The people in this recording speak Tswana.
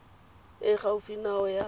e e gaufi nao ya